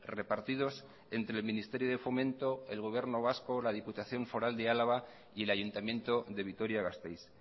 repartidos entre el ministerio de fomento el gobierno vasco la diputación foral de álava y el ayuntamiento de vitoria gasteiz